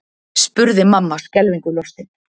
spurði mamma skelfingu lostin.